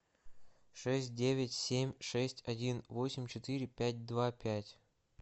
шесть девять семь шесть один восемь четыре пять два пять